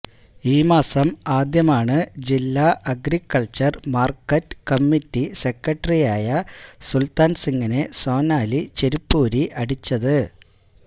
ഈ മാസം ആദ്യമാണ് ജില്ല അഗ്രികൾച്ചർ മാർക്കറ്റ് കമ്മിറ്റി സെക്രട്ടറിയായ സുൽത്താൻ സിങിനെ സോനാലി ചെരിപ്പൂരി അടിച്ചത്